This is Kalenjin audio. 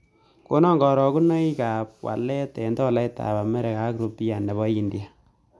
Konon karogunoikap walet eng' tolaitap amerika ak rupia ne po india